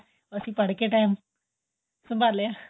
ਅਸੀਂ ਪੜ ਕੇ time ਸੰਭਾਲਿਆਂ